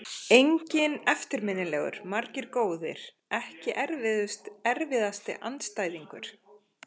Enginn eftirminnilegur, margir góðir Ekki erfiðasti andstæðingur?